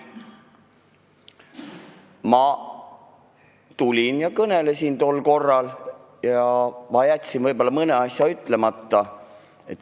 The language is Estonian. Ma tulin tol korral ja võtsin sõna, jättes mõne asja ütlemata.